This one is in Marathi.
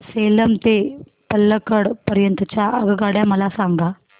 सेलम ते पल्लकड पर्यंत च्या आगगाड्या मला सांगा